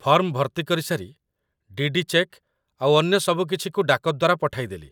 Form ଭର୍ତ୍ତି କରିସାରି, DD. Cheque ଆଉ ଅନ୍ୟ ସବୁକିଛିକୁ ଡାକ ଦ୍ୱାରା ପଠାଇଦେଲି